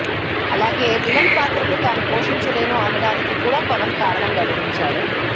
అలాగే విలన్ పాత్రలు తాను పోషించలేను అనడానికి కూడా పవన్ కారణం వెల్లడించాడు